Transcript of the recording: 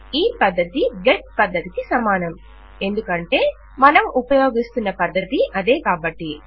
ఈ పద్ధతి గెట్ పద్ధతికి సమానము ఎందుకంటే మనం ఉపయోగిస్తున్న పద్ధతి అదే కాబట్టి